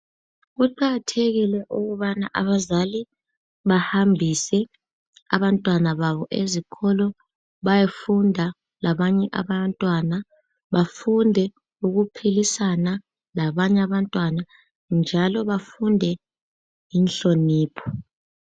Kuqakathekile ukubana abazali bahambise abantwana babo ezikolo. Bayefunda labanye abantwana. Bafunde ukuphilisana labanye abantwana, njalo bafunde inhlonipho.